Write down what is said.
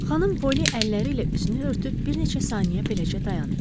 Xanım Polly əlləri ilə üzünü örtüb bir neçə saniyə beləcə dayandı.